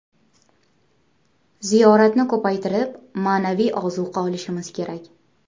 Ziyoratni ko‘paytirib, ma’naviy ozuqa olishimiz kerak.